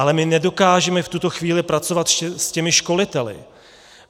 Ale my nedokážeme v tuto chvíli pracovat s těmi školiteli.